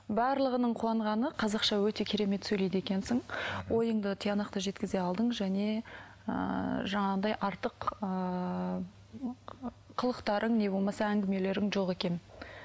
барлығының қуанғаны қазақша өте керемет сөйлейді екенсің ойыңды тиянақты жеткізе алдың және ыыы жаңағындай артық ыыы қылықтарың не болмаса әңгімелерің жоқ екен